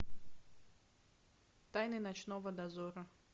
тайны ночного дозора